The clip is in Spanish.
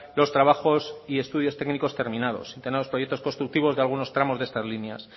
los trabajos y los estudios técnicos terminados y los estudios constructivos de unos tramos de estas líneas